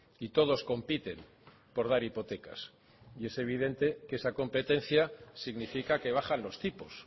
y todos compiten por dar hipotecas y es evidente que esa competencia significa que bajan los tipos